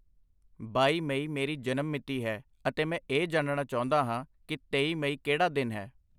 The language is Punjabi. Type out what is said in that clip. ਬਾਈ ਮਈ ਮੇਰੀ ਜਨਮ ਮਿਤੀ ਹੈ ਅਤੇ ਮੈਂ ਇਹ ਜਾਣਨਾ ਚਾਹੁੰਦਾ ਹਾਂ ਕਿ ਤੇਈ ਮਈ ਕਿਹੜਾ ਦਿਨ ਹੈ ?